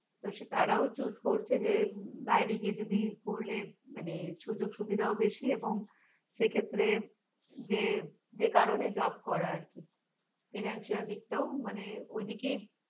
তো তারাও choose করছে যে বাইরে গিয়ে যদি পড়লে মানে সুযোগ সুবিধাও বেশি এবং সেক্ষেত্রে যে যে কারণে job করা আর কি financial দিকটাও মানে ওইদিকে